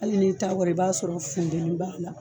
Hali n'i ta kɔrɔ i b'a sɔrɔ funteni b'a la